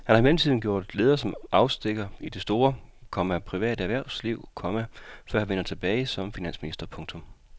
Han har i mellemtiden gjort afstikker som leder i det store, komma private erhvervsliv, komma før han vendte tilbage som finansminister. punktum